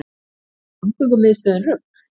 Er samgöngumiðstöðin rugl